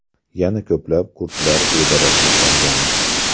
Yana ko‘plab kurdlar bedarak yo‘qolgan.